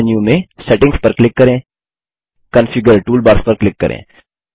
मुख्य मेन्यू में सेटिंग्स पर क्लिक करें कॉन्फिगर टूलबार्स पर क्लिक करें